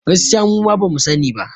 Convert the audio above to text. Gaskiya muma bamu sa ni ba